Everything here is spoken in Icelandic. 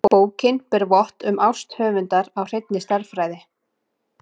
Bókin ber vott um ást höfundar á hreinni stærðfræði.